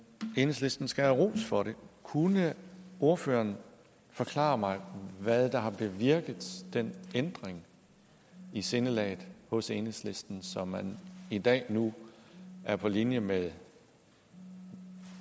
enhedslisten skal have ros for det kunne ordføreren forklare mig hvad der har bevirket den ændring i sindelaget hos enhedslisten så man i dag nu er på linje med